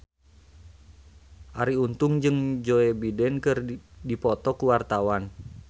Arie Untung jeung Joe Biden keur dipoto ku wartawan